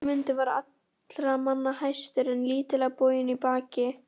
Guðmundur var allra manna hæstur en lítillega boginn í baki.